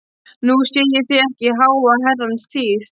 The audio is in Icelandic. Nú sé ég þig ekki í háa herrans tíð.